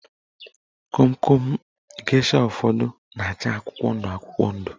Komkom gesha ụfọdụ na-acha akwụkwọ ndụ akwụkwọ ndụ